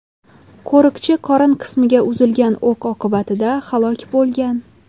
Qo‘riqchi qorin qismiga uzilgan o‘q oqibatida halok bo‘lgan.